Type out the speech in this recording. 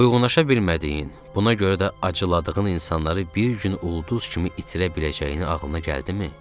Uyğunlaşa bilmədiyin, buna görə də acıladığın insanları bir gün ulduz kimi itirə biləcəyini ağlına gəldimi?